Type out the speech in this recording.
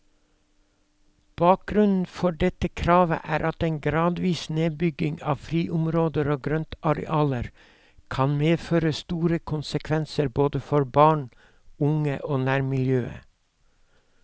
Bakgrunnen for dette kravet er at en gradvis nedbygging av friområder og grøntarealer kan medføre store konsekvenser både for barn, unge og nærmiljøet.